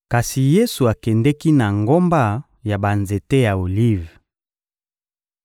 Kasi Yesu akendeki na ngomba ya banzete ya olive.